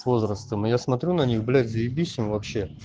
с возрастом но я смотрю на них блять заебись им вообще